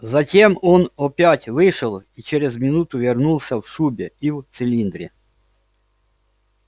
затем он опять вышел и через минуту вернулся в шубе и в цилиндре